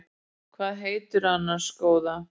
Hvað heitirðu annars góða?